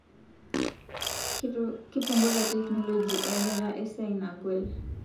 Kipunguza teknoloji etaata esiai nagol